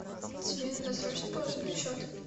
тебе надо срочно положить на счет